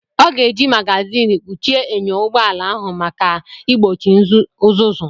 Ọ ga-eji mágázin kpuchie enyo ụgbọ ala ahụ maka igbochi uzuzu